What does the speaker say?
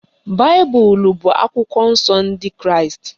Baịbụl bụ akwụkwọ nsọ ndị kraịst